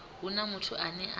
hu na muthu ane a